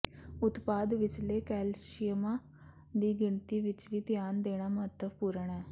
ਉਤਪਾਦ ਵਿਚਲੇ ਕੈਲਸ਼ੀਅਮਾਂ ਦੀ ਗਿਣਤੀ ਵਿਚ ਵੀ ਧਿਆਨ ਦੇਣਾ ਮਹੱਤਵਪੂਰਣ ਹੈ